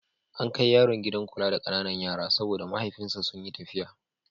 An kai yaron gidan kula da ƙananan yara saboda mahaifansa sun yi tafiya.